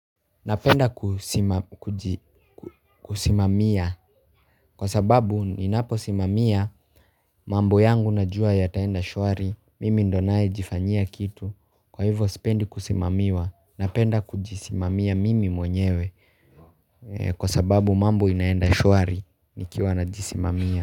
Napenda kusimamia kwa sababu ninapo simamia mambo yangu najua ya taenda shwari mimi ndo nae jifanyia kitu kwa hivyo sipendi kusimamiwa napenda kujisimamia mimi mwenyewe kwa sababu mambo inaenda shwari nikiwa na jisimamia.